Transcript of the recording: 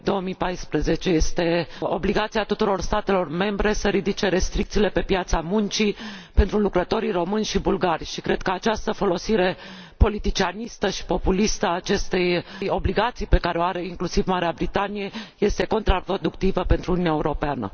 2014? Este obligația tuturor statelor membre să ridice restricțiile de pe piața muncii pentru lucrătorii români și bulgari și cred că această folosire politicianistă și populistă a acestei obligații pe care o are inclusiv Marea Britanie este contraproductivă pentru Uniunea Europeană.